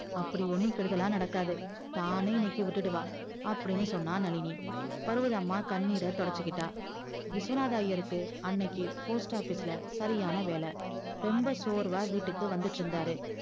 அப்படி ஒன்னும் கெடுதலா நடக்காது தானே இன்னைக்கி விட்டுடுவா அப்டின்னு சொன்னா நளினி பருவதம்மா கண்ணீர் தொடச்சிகிட்டா விஸ்வநாதர் ஐயர்க்கு அன்னைக்கி post office ல சரியான வேல ரொம்ப சோர்வா வீட்டுக்கு வந்துட்டு இருந்தாரு